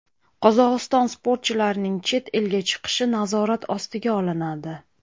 Qozog‘iston sportchilarining chet elga chiqishi nazorat ostiga olinadi.